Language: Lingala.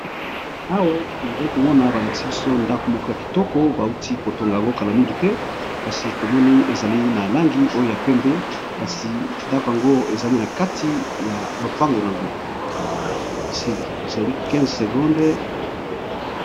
Awa nazali komona balakisi biso ndako moko ya kitoko bauti kotonga yango kala mingi te kasi tomoni ezali na langi oyo ya pembe kasi ndako yango ezali na kati ya lopango yango esilii15